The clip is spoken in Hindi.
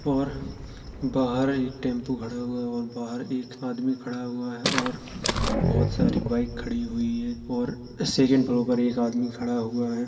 और बाहर एक टेम्पो खड़ा हुआ है और बाहर एक आदमी खड़ा हुआ है और बहुत सारी बाइक खड़ी हुई है और सेकेंड पर एक आदमी खड़ा हुआ है।